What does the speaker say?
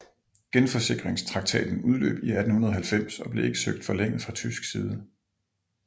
Genforsikringstraktaten udløb i 1890 og blev ikke søgt forlænget fra tysk side